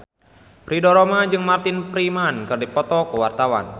Ridho Roma jeung Martin Freeman keur dipoto ku wartawan